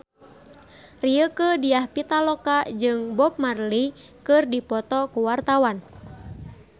Rieke Diah Pitaloka jeung Bob Marley keur dipoto ku wartawan